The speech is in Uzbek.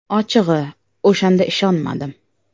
Ochig‘i, o‘shanda ishonmadim.